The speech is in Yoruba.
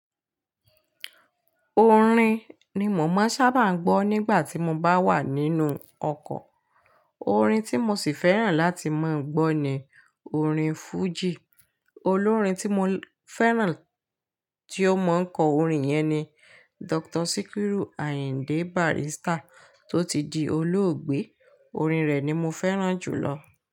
Orin ni mò máa sábà ń gbọ́ nígbà tí mo bá wà nínú ọkọ̀. Orin tí mo sì fẹ́ràn láti máa gbọ́ ni orin fújì. Olórin tí mo fẹ́ràn tí ó mọ̀ ń kọ orin yẹn ni Dr. Sikiru Ayinde Barrister tó ti di olóògbé. Orin rẹ̀ ni mo fẹ́ràn jù lọ.